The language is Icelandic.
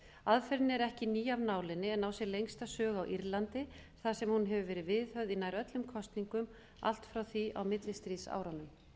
aðferðin er ekki ný af nálinni en á sér lengsta sögu á írlandi þar sem hún hefur verið viðhöfð í nær öllum kosningum allt frá því á millistríðsárunum